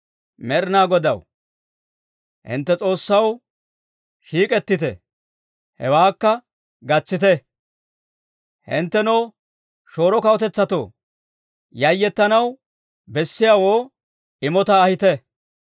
Med'inaa Godaw, hintte S'oossaw, shiik'ettite, hewaakka gatsite. Hinttenoo shooro kawutetsatoo, yayettanaw bessiyaawoo immotaa ahite.